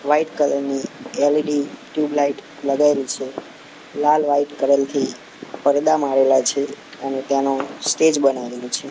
White colour ની L E D tubelight લગાઇલી છે લાલ વ્હાઇટ કલર થી પરદા મારેલા છે અને ત્યાંનું સ્ટેજ બનાવેલું છે.